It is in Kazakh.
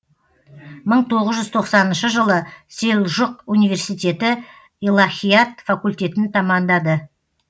мың тоғыз жүз тоқсаныншы жылы селжұқ университеті илахият факультетін тәмамдады